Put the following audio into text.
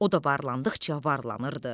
O da varlandıqca varlanırdı.